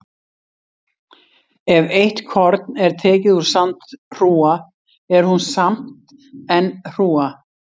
Ef eitt korn er tekið úr sandhrúga er hún samt enn hrúga.